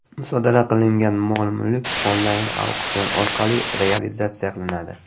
Musodara qilingan mol-mulk onlayn-auksion orqali realizatsiya qilinadi.